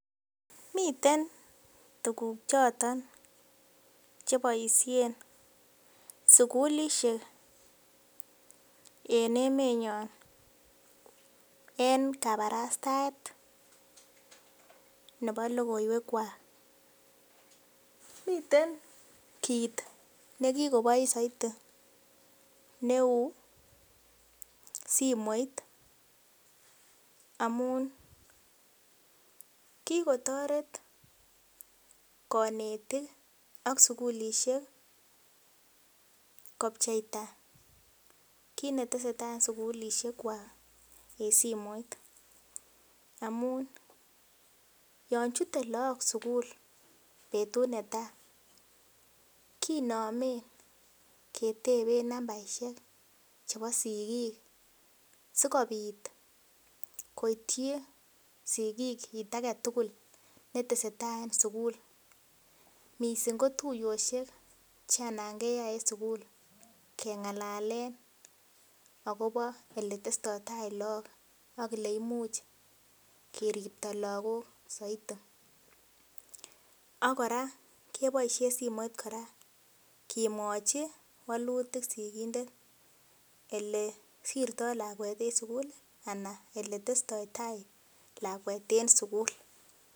Miten tuguk choton cheboisien sukulisiek en emenyon en kabarastaet nebo logoiwek kwak miten kit nekikobois soiti neu simoit amun kikotoret konetik ak sukulisiek kopcheita kit netesetai en sukulisiek kwak en simoit amun yon chute look sukul betut netaa kinomen keteben nambaisiek chebo sigik sikobit koityi sigik kit aketugul netesetai en sugul missing ko tuiyoshek chen alan keyai en sugul keng'alalen akobo eletestoitai look ak eleimuch keripto lagok soiti ak kora keboisien simoit kora kemwochi wolutik sigindet elesirtoo lakwet en sukul anan eletestoitai lakwet en sukul